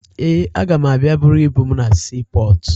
Ee, aga m abịa buru ibu m na siipọọtụ